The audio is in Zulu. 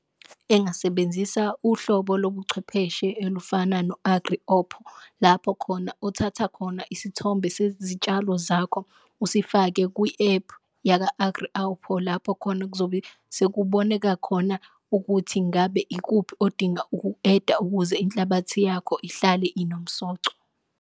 Engasebenzisa uhlobo lobuchwepheshe elufana lapho khona othatha khona isithombe sezitshalo zakho usifake kwi-ephu lapho khona okuzobe sekuboneka khona ukuthi ngabe ikuphi odinga ukuku-eda ukuze inhlabathi yakho ihlale inomsoco.